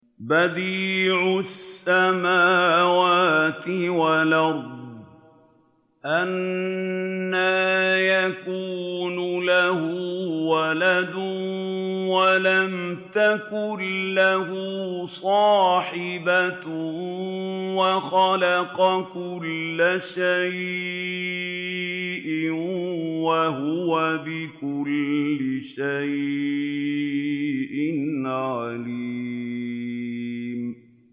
بَدِيعُ السَّمَاوَاتِ وَالْأَرْضِ ۖ أَنَّىٰ يَكُونُ لَهُ وَلَدٌ وَلَمْ تَكُن لَّهُ صَاحِبَةٌ ۖ وَخَلَقَ كُلَّ شَيْءٍ ۖ وَهُوَ بِكُلِّ شَيْءٍ عَلِيمٌ